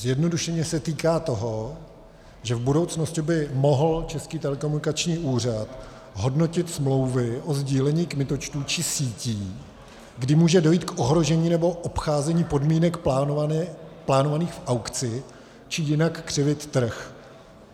Zjednodušeně se týká toho, že v budoucnosti by mohl Český telekomunikační úřad hodnotit smlouvy o sdílení kmitočtu či sítí, kdy může dojít k ohrožení nebo obcházení podmínek plánovaných v aukci či jinak křivit trh.